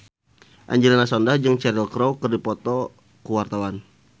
Angelina Sondakh jeung Cheryl Crow keur dipoto ku wartawan